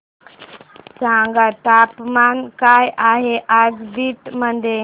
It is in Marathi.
सांगा तापमान काय आहे आज बीड मध्ये